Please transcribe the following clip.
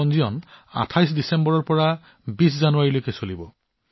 পঞ্জীয়নটো ২৮ ডিচেম্বৰৰ পৰা ২০ জানুৱাৰীলৈ চলিব